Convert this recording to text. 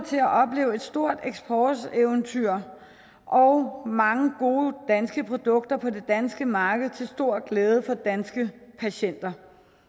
til at opleve et stort eksporteventyr og mange gode danske produkter på det danske marked til stor glæde for danske patienter